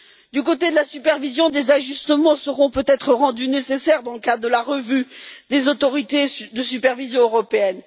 Du côté de la supervision, des ajustements seront peut être rendus nécessaires dans le cadre de la revue des autorités de supervision européenne.